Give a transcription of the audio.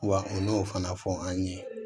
Wa u y'o fana fɔ an ye